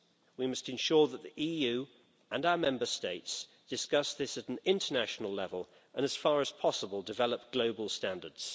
We must ensure that the EU and our Member States discuss this at an international level, and as far as possible develop global standards.